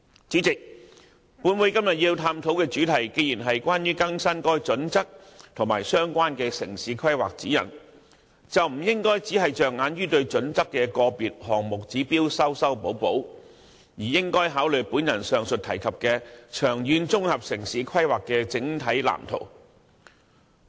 本會今天探討的主題既然是關於更新《規劃標準》和《指引》，便不應只着眼於修訂《規劃標準》個別項目指標，而應考慮上述提及的長遠綜合城市規劃的整體藍圖。